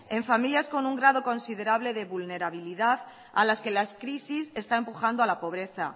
en familias con un grado considerable de vulnerabilidad a las que las crisis está empujando a la pobreza